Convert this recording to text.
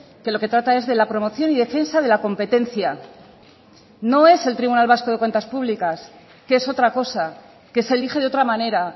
que lo que trata es de la promoción y defensa de la competencia no es el tribunal vasco de cuentas públicas que es otra cosa que se elige de otra manera